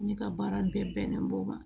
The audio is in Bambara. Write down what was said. Ne ka baara bɛn bɛnnen b'o ma